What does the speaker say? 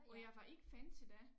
Og jeg var ikke fan til dét